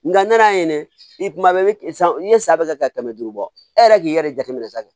Nga na ye i kuma bɛɛ kɛ san n'i ye san bɛ ka kɛmɛ duuru bɔ e yɛrɛ k'i yɛrɛ jateminɛ san fɛ